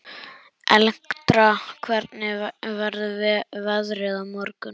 Elektra, hvernig verður veðrið á morgun?